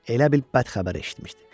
Elə bil bədxəbər eşitmişdi.